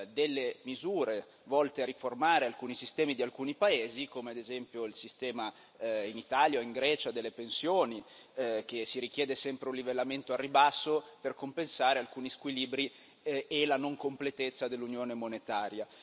delle misure volte a riformare alcuni sistemi di alcuni paesi, come ad esempio il sistema delle pensioni in Italia o in Grecia richiedendo sempre un livellamento al ribasso per compensare alcuni squilibri e la non completezza dell'Unione monetaria.